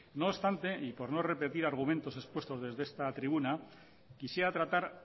no obstante y por no repetir argumentos expuestos desde esta tribuna quisiera tratar